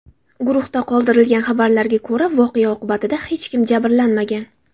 Guruhda qoldirilgan xabarlarga ko‘ra, voqea oqibatida hech kim jabrlanmagan.